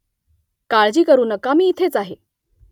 काळजी करू नका मी इथेच आहे